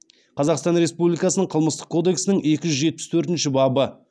қазақстан республикасының қылмыстық кодексінің екі жүз жетпіс төртінші бабы